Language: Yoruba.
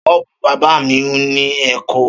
Ṣọ́ọ́bù bábà mi w ní Èkó.